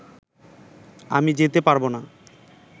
আমি যেতে পারব না